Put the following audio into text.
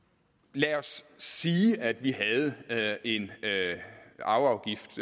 lad os sige at vi havde en arveafgift